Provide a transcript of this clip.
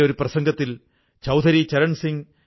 എനിക്ക് തിരുക്കുറൾ വളരെ ഇഷ്ടമാണ്